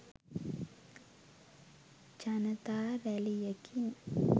ජනතා රැලියකින්